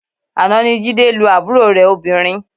Àná ni Jídé lu àbúrò rẹ̀ obìnrin